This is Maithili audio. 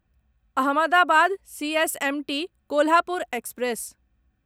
Ahmedabad CSMT Kolhapur express